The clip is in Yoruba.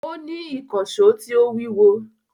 Ó ní ìkànsó tí ó wíwo